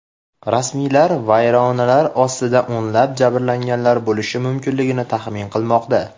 Rasmiylar vayronalar ostida o‘nlab jabrlanganlar bo‘lishi mumkinligini taxmin qilmoqda.